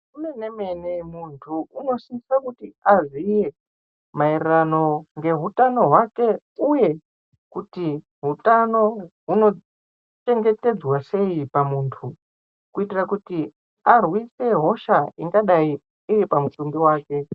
Muntu anosisa kuti aziye maerero ngehutano hwake uye kuti hutano hunochengetedzwa sei pamuntu kuitira kuti arwise hosha ingadai iri pamutumbi wake